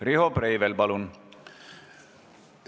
Riho Breivel, palun!